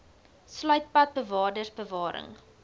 sluit parkbewaarders bewarings